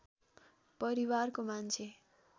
परिवारको मान्छे